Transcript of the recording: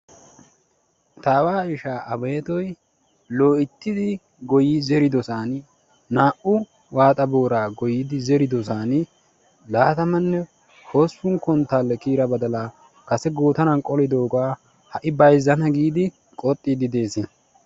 Ta aawa ishaa Abeettoy loyttidi gooyi zeriddossani naa"u waaxxa boora goyidi zeriddossaan laattammanne hossppun konttaalee kiyida baddalaa kase goottaran qolliddoogaa ha'i bayzzana giidi qoxxiidi de'ees.